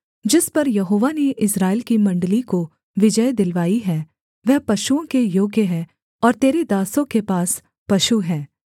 जिस पर यहोवा ने इस्राएल की मण्डली को विजय दिलवाई है वह पशुओं के योग्य है और तेरे दासों के पास पशु हैं